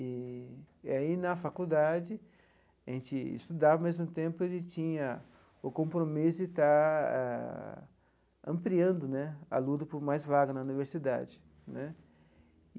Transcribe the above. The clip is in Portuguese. E e aí, na faculdade, a gente estudava, ao mesmo tempo, a gente tinha o compromisso de estar ampliando né a luta por mais vagas na universidade né.